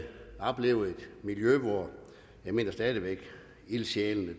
opleve et miljø hvor ildsjælene